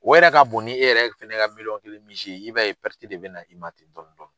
O yɛrɛ ka bon ni e yɛrɛ fɛnɛ ka miliyɔn kelen misi ye i b'a ye de bɛ na i ma ten dɔrɔn.